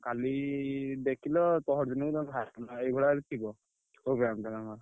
କାଲି ଦେଖିଲ ପହରଦିନକୁ ତମେ ବାହାରିଆସିଲ ଏହିଭଳିଆ ଥିବ programme ଟା ନା କଣ?